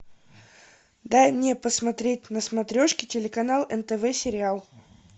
дай мне посмотреть на смотрешке телеканал нтв сериал